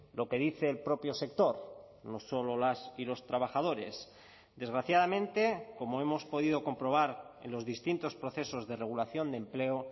lo que dice el propio sector no solo las y los trabajadores desgraciadamente como hemos podido comprobar en los distintos procesos de regulación de empleo